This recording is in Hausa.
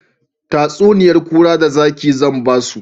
Tatsuniyan kura da zaki zan musu